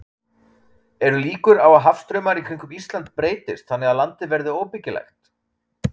Eru líkur á að hafstraumar í kringum Ísland breytist þannig að landið verði óbyggilegt?